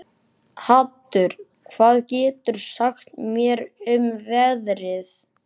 Haddur, hvað geturðu sagt mér um veðrið?